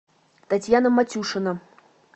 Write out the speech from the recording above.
татьяна матюшина